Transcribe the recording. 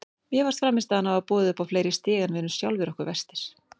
Mér fannst frammistaðan hafa boðið upp á fleiri stig en við erum sjálfum okkur verstir.